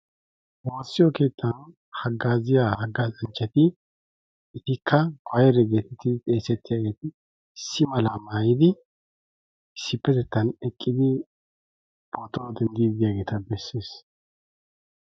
Woossiyoo keettan haggaziyaa haggazzanchati etikka koyre getteti xeesetiyaageti issi malaa mayidi issipettettan eqqidi pootuwaa dendiidi d'iyaageeta bessees.